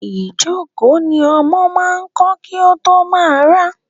Ìjókòó ni ọmọ máa ń kọ́ kí ó tó máa rá.